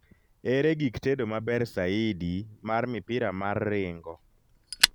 ere gik tedo maber saidi mar mipira mar ringo